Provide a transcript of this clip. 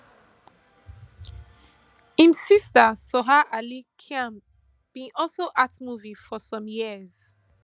im sister soha ali khan bin also act movies for some years